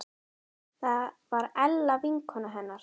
Það var Ella vinkona hennar.